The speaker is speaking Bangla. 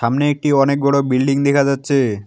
সামনে একটি অনেকবড় বিল্ডিং দেখা যাচ্ছে।